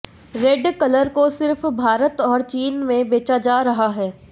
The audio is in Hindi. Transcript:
रेड कलर को सिर्फ भारत और चीन में बेचा जा रहा है